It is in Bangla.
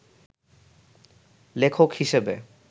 লেখক হিসেবে